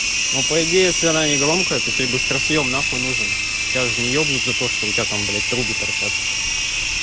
ну по идее если она не громкая то тебе быстросъем нахуй нужен тебя же не ебнут за то что у тебя там блять трубы торчат